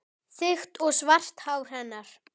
Þykkt og svart hár hennar.